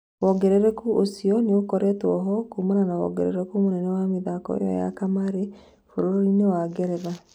Wongerereku ũcio nĩũkoretwo ho kuumana na wongerereku mũnene wa mithako ĩyo ya kamarĩ bũrũri-inĩ wa Ngeretha.